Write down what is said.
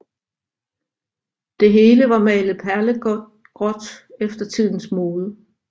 Det hele var malet perlegråt efter tidens mode